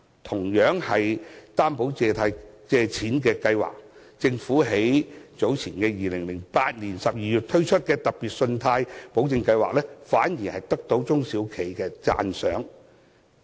同樣是擔保借錢的計劃，政府於2008年12月推出的特別信貸保證計劃反而得到中小企的讚賞。